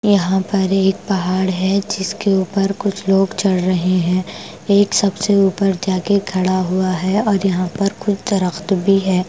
यहां पर एक पहाड़ है जिसके ऊपर कुछ लोग चढ़ रहे हैं एक सबसे ऊपर जाकर खड़ा हुआ है और यहां पर कुछ दरख्त भी है।